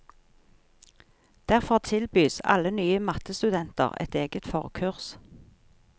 Derfor tilbys alle nye mattestudenter et eget forkurs.